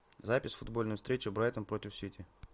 запись футбольной встречи брайтон против сити